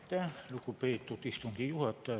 Aitäh, lugupeetud istungi juhataja!